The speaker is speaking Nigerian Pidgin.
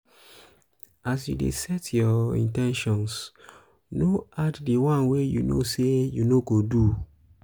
as you de set your um in ten tions um no add di one wey you know say you no go um do